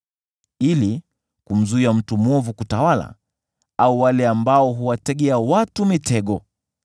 ili kumzuia mtu mwovu kutawala, au wale ambao huwategea watu mitego.